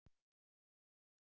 um sjúklingatryggingu?